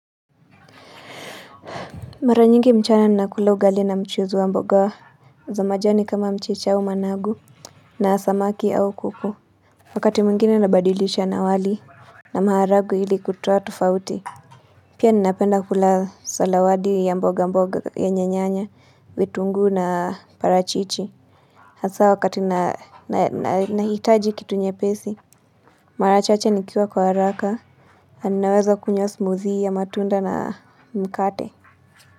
Mara nyingi mchana nina kula ugali na mchuzi wa mboga za majani kama mchicha au managu na samaki au kuku. Wakati mwingine nabadilisha na wali. Na maharagwe ili kutoa tofauti. Pia ninapenda kula salawadi ya mboga mboga yenye nyanya, vitunguu na parachichi. Hasa wakati nahitaji kitu nyepesi. Mara chache nikiwa kwa haraka ninaweza kunywa smuthi ya matunda na mkate.